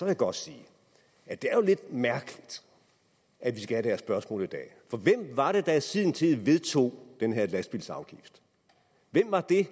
jeg godt sige at det er jo lidt mærkeligt at vi skal have det her spørgsmål i dag for hvem var det der i sin tid vedtog den her lastbilsafgift hvem var det